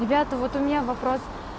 ребята вот у меня вопрос